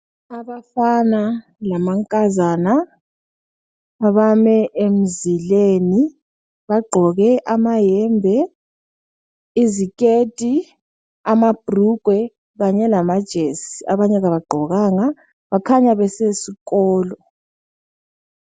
Abafana lamankazana abame emzileni bagqoke amahembe, iziketi, amabhurugwe, kanye lamajesi. Abanye abagqokanga, bakhanya besesikolo.